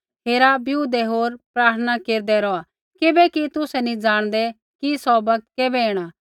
हेरा बिऊदै होर प्रार्थना केरदै रौहा किबैकि तुसै नैंई जाणदै कि सौ बौगत कैबै ऐणा